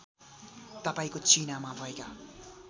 तपाईँको चिनामा भएका